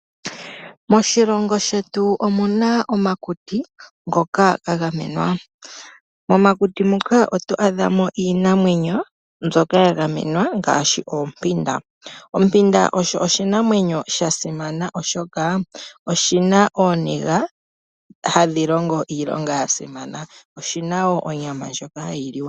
Moshilongo shetu omuna omakuti ngoka gagamenwa. Momakuti muka otwaadha mo iinamwenyo mbyoka yagamenwa ngaashi oompanda . Ompanda oyo oshinamwenyo shasimana oshoka oshi na eyego hadhi longo iilonga yasimana. Oyina onyama ndjoka hayi liwa.